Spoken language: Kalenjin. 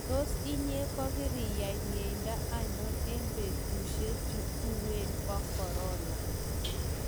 Tos inye kokoriyai miendo anon eng betushe chu uwen bo corona?